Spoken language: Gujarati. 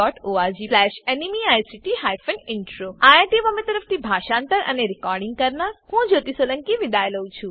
આઈઆઈટી બોમ્બે તરફથી હું જ્યોતી સોલંકી વિદાય લઉં છું